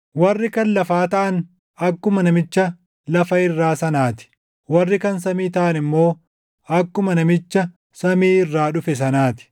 Warri kan lafaa taʼan akkuma namicha lafa irraa sanaa ti; warri kan samii taʼan immoo akkuma namicha samii irraa dhufe sanaa ti.